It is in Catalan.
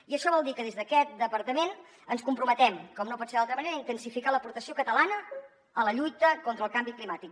i això vol dir que des d’aquest departament ens comprometem com no pot ser d’altra manera a intensificar l’aportació catalana a la lluita contra el canvi climàtic